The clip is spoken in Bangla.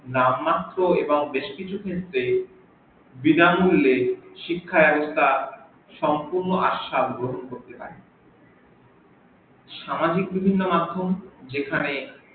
নাম মাত্র এবং বেশ কিছু ক্ষেত্রে বিনা মুল্যে শিক্ষা এবং তার সম্পূর্ণ আস্বাদ গ্রহন করতে পারে সামাজিক বিভিন্ন মাধ্যম যেখানে